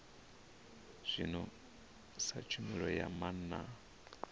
zwino sa tshumelo ya maana